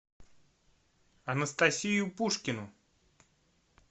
анастасию пушкину